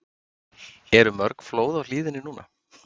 Eru mörg flóð á hlíðinni núna?